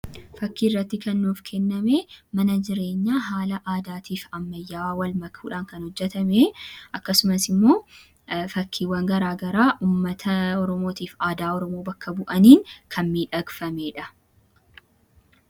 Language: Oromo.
Fakkiirratti kan nuuf kenname mana jireenyaa haala aadaatii fi ammayyaawaa wal makuudhaan kan hojjetame akkasumas immoo fakkiiwwan garaagaraa ummata Oromootiif aadaa Oromoo bakka bu'aniin kan miidhagfamee dha.